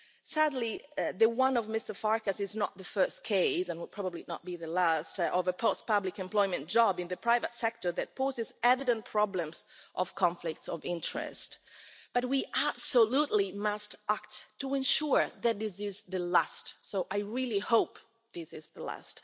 Sadly, Mr Farkas' is not the first case, and will probably not be the last, of a post-public employment job in the private sector that poses evident problems of conflicts of interest, but we absolutely must act to ensure that this is the last. I really hope that this is the last.